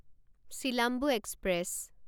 Silambu express